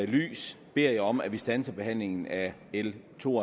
lys beder jeg om at vi standser behandlingen af l to